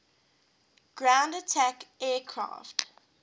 ground attack aircraft